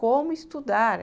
Como estudar?